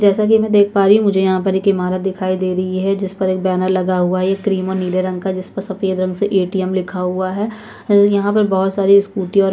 जैसे की में देख पा रही हूँ की मुझे यहाँ पर एक ईमारत दिखाई दे रही है जिस पर बैनर लगा हुआ है एक क्रीम नीले रंग का जिसपे सफ़ेद रंग से एटीएम लिखा हुआ है यहाँ पर बहुत सारी स्कूटीयाँ --